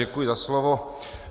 Děkuji za slovo.